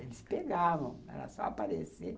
Eles pegavam, era só aparecer.